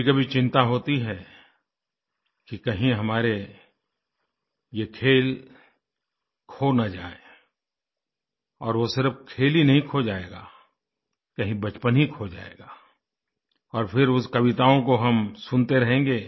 कभीकभी चिंता होती है कि कहीं हमारे यह खेल खो न जाएँ और वह सिर्फ खेल ही नहीं खो जाएगा कहीं बचपन ही खो जाएगा और फिर उस कविताओं को हम सुनते रहेंगे